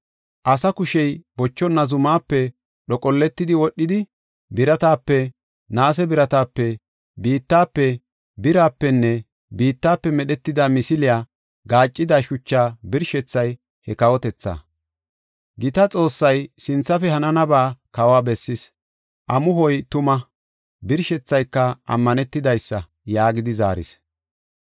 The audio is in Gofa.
Asa kushey bochonna zumaape dhoqolletidi, wodhidi, biratape, naase biratape, biittafe, birapenne biittafe medhetida misiliya gaaccida shuchaa birshethay he kawotethaa. “Gita Xoossay sinthafe hananaba kawa bessis. Amuhoy tuma; birshethayka ammanetidaysa” yaagidi zaaris.